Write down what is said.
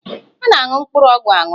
A na-aṅụ mkpụrụ ọgwụ aṅụ